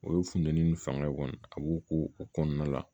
O ye funteni ni fanga kɔni a b'o ko o kɔnɔna la